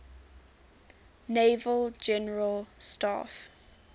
naval general staff